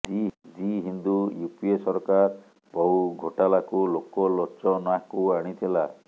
ଦି Hindu UPA ସରକାର ବହୁ ଘୋଟାଲାକୁ ଲୋକ ଲୋଚନାକୁ ଆଣିଥିଲା